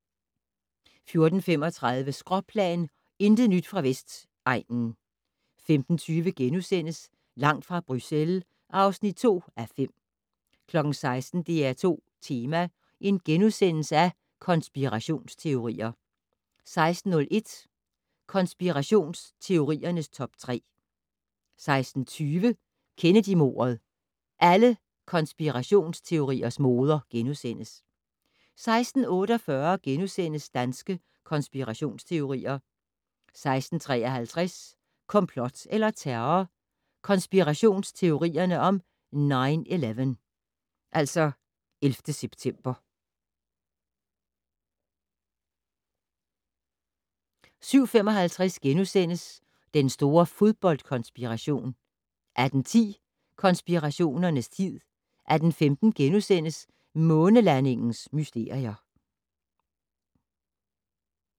14:35: Skråplan - intet nyt fra Vestegnen 15:20: Langt fra Bruxelles (2:5)* 16:00: DR2 Tema: Konspirationsteorier * 16:01: Konspirationsteoriernes top 3 16:07: Kennedymordet - alle konspirationsteoriers moder * 16:48: Danske konspirationsteorier * 16:53: Komplot eller terror? Konspirationsteorierne om 9/11 17:55: Den store fodboldkonspiration * 18:10: Konspirationernes tid 18:15: Månelandingens mysterier *